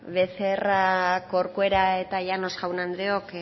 becerra corcuera eta llanos jaun andreok